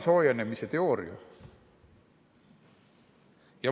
... soojenemise teooria.